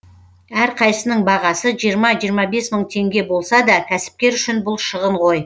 әрқайсысының бағасы жиырма жиырма бес мың теңге болса да кәсіпкер үшін бұл шығын ғой